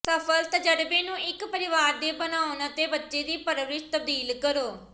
ਸਫਲ ਤਜਰਬੇ ਨੂੰ ਇੱਕ ਪਰਿਵਾਰ ਦੇ ਬਣਾਉਣ ਅਤੇ ਬੱਚੇ ਦੀ ਪਰਵਰਿਸ਼ ਤਬਦੀਲ ਕਰੋ